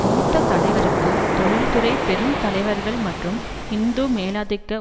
மூத்த தலைவருக்கு தொழில்துறை பெரும் தலைவர்கள் மற்றும் ஹிந்து மேலாதிக்க